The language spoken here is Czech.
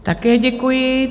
Také děkuji.